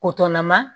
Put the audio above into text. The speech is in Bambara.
ma